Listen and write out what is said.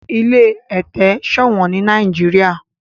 ilé ete ṣowón ní Nàìjíríà.